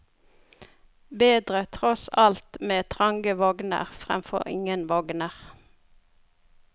Bedre tross alt med trange vogner fremfor ingen vogner.